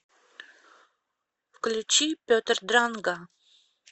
включи петр дранга